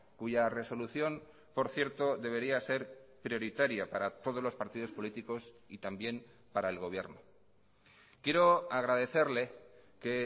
cuya resolución por cierto debería ser prioritaria para todos los partidos políticos y también para el gobierno quiero agradecerle que